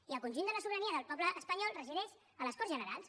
i el conjunt de la sobirania del poble espanyol resideix a les corts generals